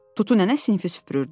Tutu nənə sinfi süpürürdü.